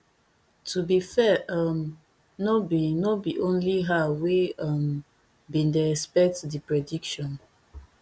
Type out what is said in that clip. to be fair um no be no be only her wey um bin dey expect di prediction